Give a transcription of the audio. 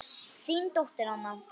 Þín dóttir, Anna.